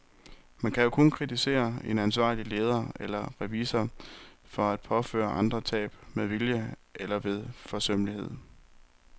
Man kan kun kritisere en ansvarlig leder eller revisor for at påføre andre tab med vilje eller ved forsømmelighed.